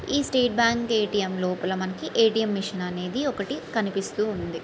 ఈ State Bank ATM. లోపల మనకి ఏ.టీ.ఎం. మిషన్ అనేది ఒకటి కనిపిస్తూ ఉంది.